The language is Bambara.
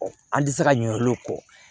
An tɛ se ka ɲinɛ olu kɔ